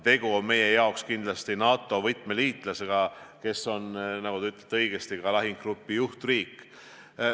Tegu on meie jaoks võtmeliitlasega NATO-s, kes on, nagu te õigesti ütlesite, ka lahingugrupi juhtriik.